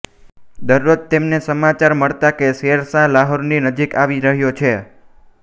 દર્રોજ તેમને સમાચાર મળતાં કે શેર શાહ લાહોરની નજીક આવી રહ્યો છે